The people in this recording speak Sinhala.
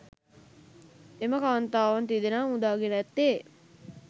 එම කාන්තාවන් තිදෙනා මුදා ගෙන ඇත්තේ